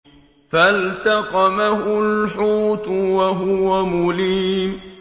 فَالْتَقَمَهُ الْحُوتُ وَهُوَ مُلِيمٌ